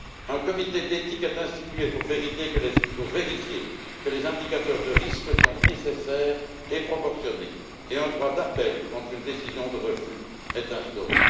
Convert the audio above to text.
Un comité d'éthique est institué pour vérifier que les indicateurs de risque sont nécessaires et proportionnés et un droit d'appel contre une décision de refus est instauré.